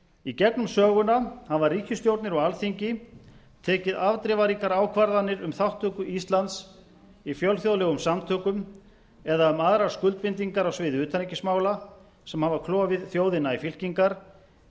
í gegnum söguna hafa ríkisstjórnir og alþingi tekið afdrifaríkar ákvarðanir um þátttöku íslands í fjölþjóðlegum samtökum eða um aðrar skuldbindingar á sviði utanríkismála sem hafa klofið þjóðina í fylkingar